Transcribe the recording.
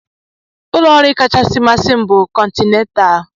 Ụlọ nri kachasị masị m bụ Continental.